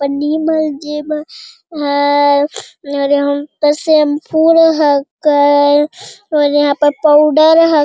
पन्नी में जे में है और यहाँ पे शैम्पूर हके और यहाँ पर पाउडर ह --